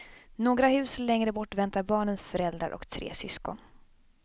Några hus längre bort väntar barnens föräldrar och tre syskon.